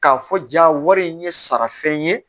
K'a fɔ ja wari in ye sarafɛn ye